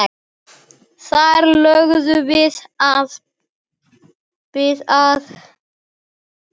Þar lögðum við að.